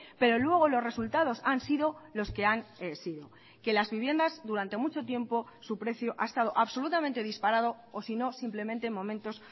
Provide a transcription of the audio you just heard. pero luego los resultados han sido los que han sido que las viviendas durante mucho tiempo su precio ha estado absolutamente disparado o si no simplemente momentos